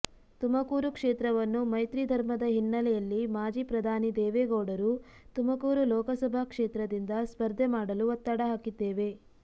ತುಮಕೂರು ಕ್ಷೇತ್ರವನ್ನು ಮೈತ್ರಿಧರ್ಮದ ಹಿನ್ನೆಲೆಯಲ್ಲಿ ಮಾಜಿ ಪ್ರಧಾನಿ ದೇವೇಗೌಡರು ತುಮಕೂರು ಲೋಕಸಭಾ ಕ್ಷೇತ್ರದಿಂದ ಸ್ಪರ್ಧೆ ಮಾಡಲು ಒತ್ತಡ ಹಾಕಿದ್ದೇವೆ